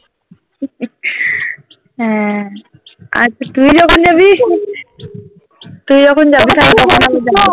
হ্যাঁ আচ্ছা তুই যখন জাবি তুই যখন জাবি